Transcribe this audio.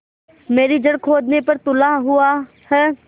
मेरी जड़ खोदने पर तुला हुआ है